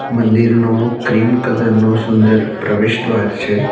મંદિરનુ cream colour નું સુંદર પ્રવેશ દ્વાર છે.